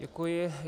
Děkuji.